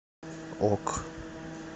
ок